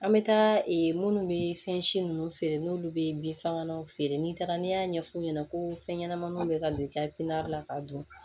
An bɛ taa minnu bɛ fɛn si ninnu feere n'olu bɛ bin fagalanw feere n'i taara n'i y'a ɲɛf'u ɲɛna ko fɛn ɲɛnamaninw bɛ ka don i ka la ka dun